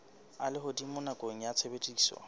a lehodimo nakong ya tshebediso